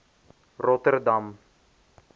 rotterdam